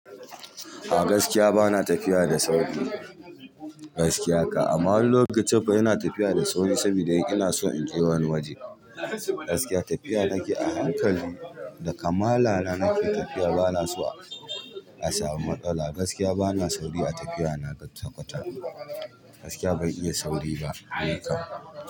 A gaskiya bana tafiya da sauri. Gaskiya ka, amma wani lokaci fa ina tafiya da sauri saboda ina so in je wani waje. Gaskiya tafiya nake a hankali da kamala na nake tafiya bana so a samu matsala gaskiya bana sauri a tafiya na gaskiya ban iya sauri ba.